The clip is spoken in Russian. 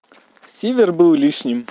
сивер был лишним